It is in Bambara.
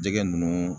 Jɛgɛ ninnu